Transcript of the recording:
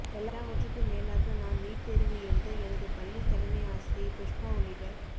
எல்லாவற்றுக்கும் மேலாக நான் நீட் தேர்வு எழுத எனது பள்ளி தலைமை ஆசிரியை புஷ்பா உள்ளிட்ட